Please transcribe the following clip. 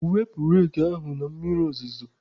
Wepụta reki ahụ na mmiri ozuzo!.